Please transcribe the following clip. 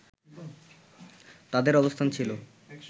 তাদের অবস্থান ছিল